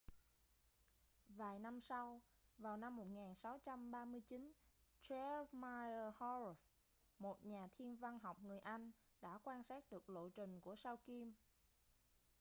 vài năm sau vào năm 1639 jeremiah horrocks một nhà thiên văn học người anh đã quan sát được lộ trình của sao kim